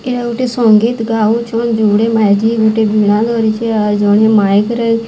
ଏହା ଗୋଟିଏ ସଙ୍ଗୀତ୍ ଗାଉଛନ୍। ଯୋଡ଼େ ମାଇକି ଗୁଟେ ବୀଣା ଧରିଛେ। ଆର୍ ଜଣେ ମାଇକ ରେ --